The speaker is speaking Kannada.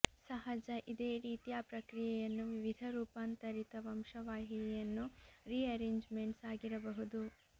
ಸಹಜ ಇದೇ ರೀತಿಯ ಪ್ರಕ್ರಿಯೆಯನ್ನು ವಿವಿಧ ರೂಪಾಂತರಿತ ವಂಶವಾಹಿಯನ್ನು ರೀಅರೇಂಜ್ಮೆಂಟ್ಸ್ ಆಗಿರಬಹುದು